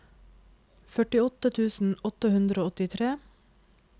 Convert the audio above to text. førtiåtte tusen åtte hundre og åttitre